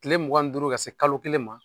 kile mugan ni duuru ka se kalo kelen ma.